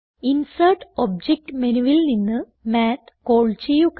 insert object menuവിൽ നിന്ന് math call ചെയ്യുക